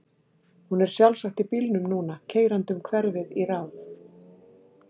Hún er sjálfsagt í bílnum núna, keyrandi um hverfið í ráð